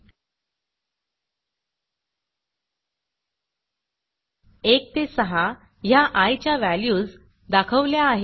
1 ते 6 ह्या आय च्या व्हॅल्यूज दाखवल्या आहेत